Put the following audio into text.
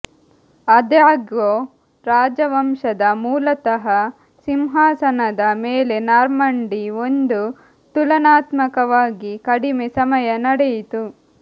ಆದಾಗ್ಯೂ ರಾಜವಂಶದ ಮೂಲತಃ ಸಿಂಹಾಸನದ ಮೇಲೆ ನಾರ್ಮಂಡಿ ಒಂದು ತುಲನಾತ್ಮಕವಾಗಿ ಕಡಿಮೆ ಸಮಯ ನಡೆಯಿತು